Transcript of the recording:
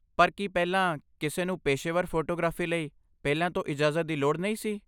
ਪਰ ਕੀ ਪਹਿਲਾਂ ਕਿਸੇ ਨੂੰ ਪੇਸ਼ੇਵਰ ਫੋਟੋਗ੍ਰਾਫੀ ਲਈ ਪਹਿਲਾਂ ਤੋਂ ਇਜਾਜ਼ਤ ਦੀ ਲੋੜ ਨਹੀਂ ਸੀ?